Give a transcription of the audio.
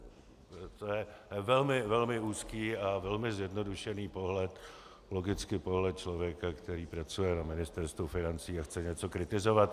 To je velmi úzký a velmi zjednodušený pohled, logicky pohled člověka, který pracuje na Ministerstvu financí a chce něco kritizovat.